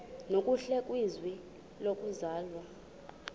nokuhle kwizwe lokuzalwa